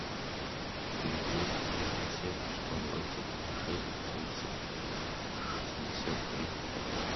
четыре двести тридцать семь сто двадцать шесть тридцать шестьдесят три